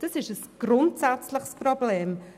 Das ist ein grundsätzliches Problem.